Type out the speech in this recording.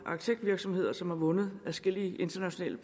arkitektvirksomheder som har vundet adskillige internationale